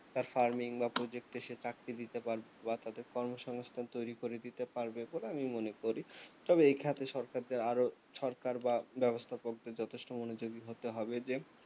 তার farming বা project এ সে চাকরি দিতে পারবে বা তাতে কর্মসংস্থান তৈরি করিয়ে দিতে পারবে বলে আমি মনে করি তবে এই ক্ষেত্রে সরকারকে আরও সরকার বা ব্যবস্থা করতে যথেষ্ট মনোযোগী হতে হবে যে